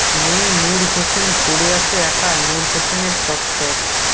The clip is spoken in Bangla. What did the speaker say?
নেই নূর হোসেন পড়ে আছে একা নূর হোসেনের চত্বর